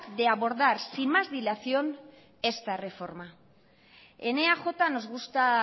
de abordar sin más dilación esta reforma en eaj nos gusta